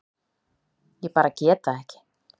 Ég bara get það ekki.